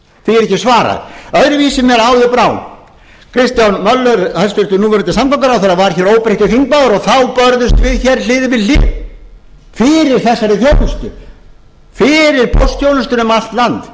ekki svarað öðruvísi mér áður brá kristján möller hæstvirtur núverandi samgönguráðherra var hér óbreyttur þingmaður og þá börðust við hér hlið við hlið fyrir þessari þjónustu fyrir póstþjónustunni um allt land